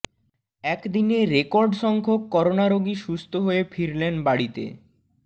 একদিনে রেকর্ড সংখ্যক করোনা রোগী সুস্থ হয়ে ফিরলেন বাড়িতে